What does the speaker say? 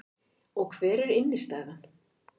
Og hver er innstæðan